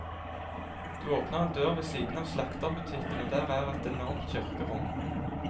Du åpner en dør ved siden av slakterbutikken og der er et enormt kirkerom.